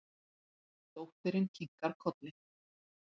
Dóttirin kinkar kolli.